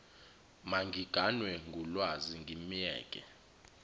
mangiganwe ngulwazi ngimyeke